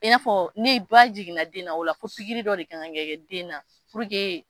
I n'a fɔ ne ba jiginna den na o la fo pikiri dɔ de kan ka kɛ den na